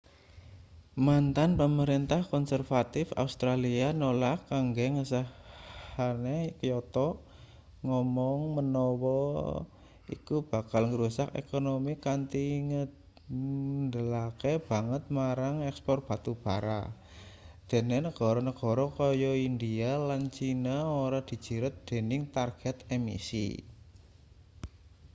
mantan pamrentah konservatif australia nolak kanggo ngesahne kyoto ngomong manawa iku bakal ngrusak ekonomi kanthi ngandhalake banget marang ekspor batu bara dene negara-negara kaya india lan china ora dijiret dening target emisi